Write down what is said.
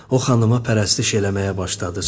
O xanıma pərəstiş eləməyə başladı.